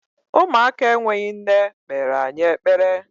Ụmụaka enweghị nne kpere anyị ekpere.